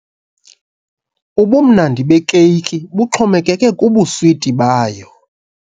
Ubumnandi bekeyiki buxhomekeke kubuswiti bayo.